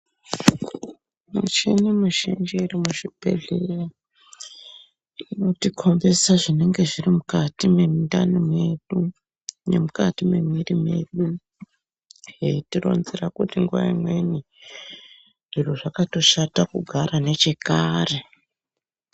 Michini mizhinji iri muzvibhedhleya inotikombedza zvinenge zviri mukati mwemundani medu nemukati memuviri medu zveitironzera kuti nguwa imweni zviro zvakatoshata kugara nechekare.